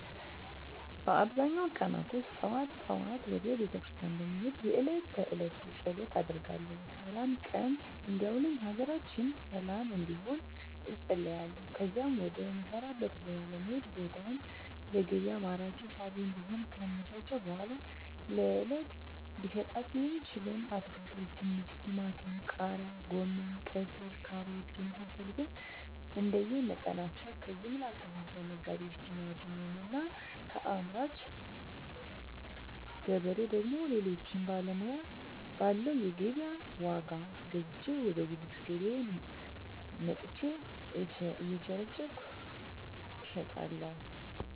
በአብዛኛው ቀናቶች ጠዋት ጠዋት ወደ ቤተክርስቲያን በመሄድ የእለት ተእለት ፀሎት አደርጋለሁ ስላም ቀን እንዲያውለኝ ሀገራችንን ሰለም እንድትሆን እፀልያለሁ ከዚያም ወደ ምሰራበት ቦታ በመሄድ ቦታውን ለገቢያ ማራኪና ሳቢ እንዲሆን ካመቻቸሁ በኃላ ለእለት ልሸጣቸው የምችለዉን አትክልቶች ድንች ቲማቲም ቃሪያ ጎመን ቀይስር ካሮት የመሳሰሉትንእንደየ መጠናቸው ከጀምላ አከፋፋይ ነጋዴዎች ቲማቲሙን እና ከአምራች ገበሬ ደግሞ ሌሎችን ባለው የገቢያ ዋጋ ገዝቼ ወደ ጉልት ገቢያየ መጥቸ እየቸረቸርኩ እሸጣለሁ